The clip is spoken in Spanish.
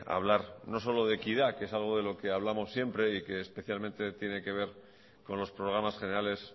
hablar no solo de equidad que es algo de lo que hablamos siempre y que especialmente tiene que ver con los programas generales